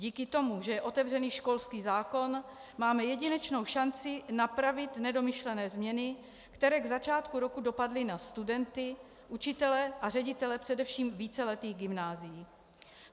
Díky tomu, že je otevřený školský zákon, máme jedinečnou šanci napravit nedomyšlené změny, které k začátku roku dopadly na studenty, učitele a ředitele především víceletých gymnázií.